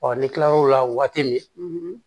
Ɔ n'i kila l'o la waati min